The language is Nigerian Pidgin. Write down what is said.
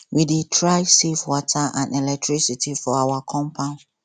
we dey try save water and electricity for our compound